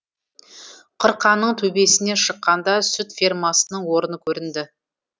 қырқаның төбесіне шыққанда сүт фермасының орны көрінді